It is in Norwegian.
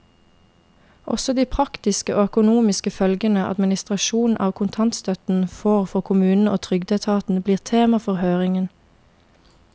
Også de praktiske og økonomiske følgene administrasjonen av kontantstøtten får for kommunene og trygdeetaten, blir tema for høringen.